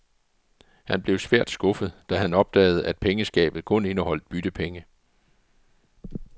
Han blev svært skuffet, da han opdagede at pengeskabet kun indeholdt byttepenge.